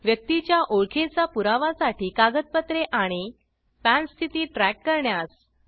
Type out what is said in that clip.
व्यक्तीची च्या ओळखेचा पुरावा साठी कागदपत्रे आणि पॅन स्थिती ट्रॅक करण्यास